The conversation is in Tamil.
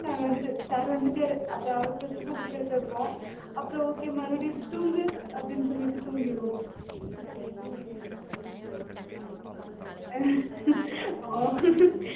நாங்க வந்துட்டு sir வந்துட்டாரு அப்புறம் அவசரம் அவசரமா book அ எடுத்து வைப்போம், அப்புறம் okay மறுபடியும் தூங்கு அப்டீன்னு சொலிட்டு தூங்கிருவோம் ஆஹ் ஆஹ்